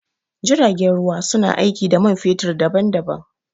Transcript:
Jiragen ruwa su na aiki da man fetur daɓan-daɓan.